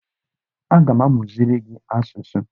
Aga m amụziri gị asụsụ